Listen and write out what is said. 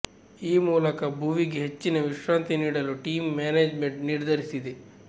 ಈ ಮೂಲಕ ಭುವಿಗೆ ಹೆಚ್ಚಿನ ವಿಶ್ರಾಂತಿ ನೀಡಲು ಟೀಂ ಮ್ಯಾನೇಜ್ಮೆಂಟ್ ನಿರ್ಧರಿಸಿದೆ